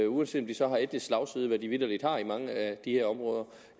uanset om de så har etnisk slagside hvad de vitterlig har i mange af de her områder